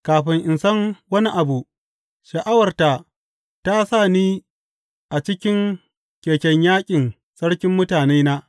Kafin in san wani abu, sha’awarta ta sa ni a cikin keken yaƙin sarkin mutanena.